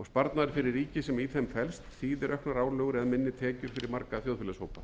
og sparnaður fyrir ríkið sem í þeim felst þýðir auknar álögur eða minni tekjur fyrir marga þjóðfélagshópa